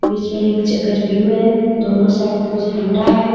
बिच में एक चकच व्यू है दोनो साइड दो झंडा है.